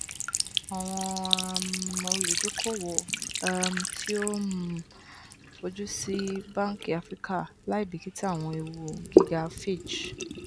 awọn um oludokoowo um ti o um fojusi awọn banki afirika laibikita awọn eewu giga fitch